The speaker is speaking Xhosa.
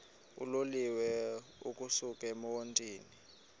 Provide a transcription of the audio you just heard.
uloliwe ukusuk emontini